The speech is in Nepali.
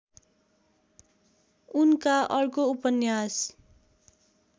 उनका अर्को उपन्यास